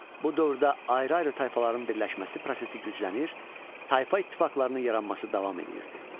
Bu dövrdə ayrı-ayrı tayfaların birləşməsi prosesi güclənir, tayfa ittifaqlarının yaranması davam eləyirdi.